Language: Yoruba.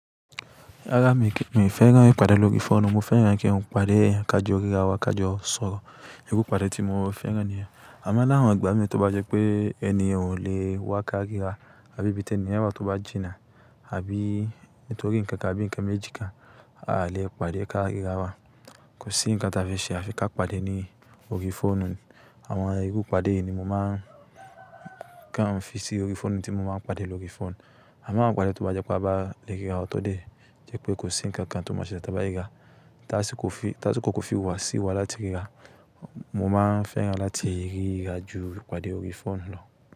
Rárá mi ò fẹ́ràn kí n padà lórí fóònù. Mo fẹ́ràn kí n padé eyan ká jọ ríra wa, ká jọ sọ̀rọ̀. Iru ipadẹ̀ tí mo fẹ́ràn niyen. Àmo lawọn igbà mí tí o bá jẹ́ pé ẹni yen o lè wá ká ríra, àbí ibi ti eni yen tó bá jìnnà, àbí nítorí nǹkan, àbí nǹkan méjì kan, a lè padé ká ríra wa. Kò sí ǹkan tí a fe ṣe, a fi ká padé ní orí fóònù. Àwọn iru ipadé yìí ni mo máa ń kàn fún sí orí fóònù tí mo máa ń padé lórí fóònù. Àmo awon ipadé tí wọ́n bá jẹ́ pé a bá le ríra wa tọ̀ dé, jẹ́ pé kò sí ǹkan kan tí wọ́n máa ṣele tí a bá ríra. T'asíkò ko fi wá sí wa láti ríra, mo máa fẹ́ràn láti ríra ju ipadé orí fóònù lọ.